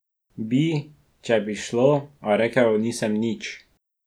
Bi, če bi šlo, a rekla nisem nič.